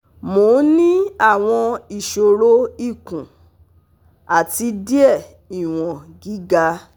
Mo ń ní àwọn iṣoro ikùn, àti diẹ̀ iwon giga